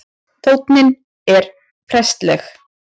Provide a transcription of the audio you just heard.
Tónninn er prestleg